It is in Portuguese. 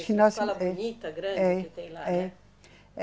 Ginásio. Escola bonita, grande que tem lá, né? É.